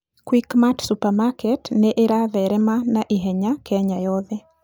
Quickmart Supermarket nĩ ĩratherema na ihenya Kenya yothe.